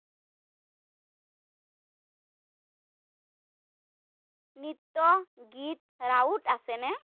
নৃত্য, গীত ৰাউত আছে নে?